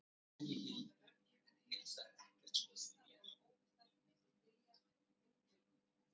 Rakkinn fór með veggjum og hnusaði, en mýsnar voru óhultar milli þilja og undir gólffjölum.